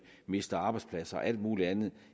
mister arbejdspladser og alt muligt andet